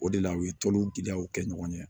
O de la u ye tolu gɛlɛyaw kɛ ɲɔgɔn ye